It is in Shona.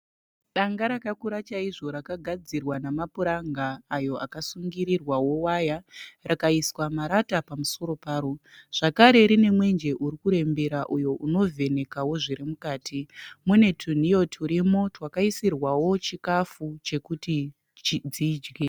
Danga rakakura chaizvo rakagadzirwa namapuranga ayo akasungirirwawo waya rakaiswa marata pamusoro paro. Zvakare rine mwenje uri kurembera uyo unovhenekawo zviri mukati. Mune tunhiyo twurimo twakaisirwawo chikafu chekuti dzidye.